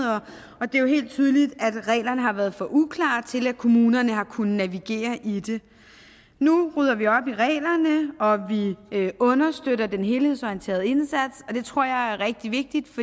og det er jo helt tydeligt at reglerne har været for uklare til at kommunerne har kunnet navigere i det nu rydder vi op i reglerne og vi understøtter den helhedsorienterede indsats og det tror jeg er rigtig vigtigt